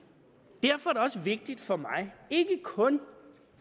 derfor er det også vigtigt for mig ikke kun